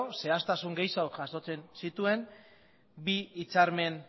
zehaztasun gehixeago jasotzen zituen bi hitzarmen